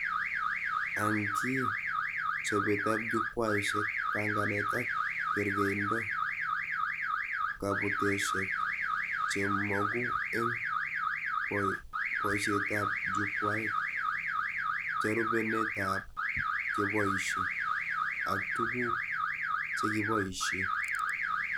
Ankii chobetab jukwaishek, banganet ak kerkeindo, kabuteshek chemogu eng boishetab jukwait, jarubenetab cheboishe, aktuguk chekiboishe